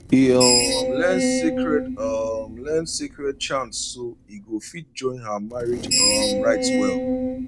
e um learn sacred um learn sacred chants so e go fit join her marriage um rites well